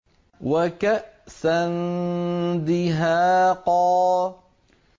وَكَأْسًا دِهَاقًا